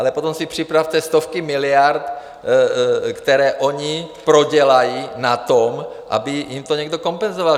Ale potom si připravte stovky miliard, které oni prodělají na tom, aby jim to někdo kompenzoval.